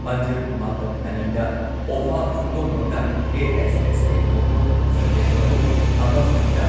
ꯄꯥꯟꯖꯤꯜ ꯃꯥꯄꯟ ꯑꯅꯤꯗ, ꯑꯣꯐꯥ ꯄꯨꯡꯗꯣꯡꯕꯝꯅ ꯑꯦ.ꯑꯦꯁ.ꯑꯦꯁ.ꯑꯦ. ꯅꯣꯡꯄꯣꯛ ꯁꯟꯖꯦꯟꯕꯝꯕꯨ ꯑꯃ ꯐꯨꯟꯗ